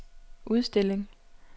udstilling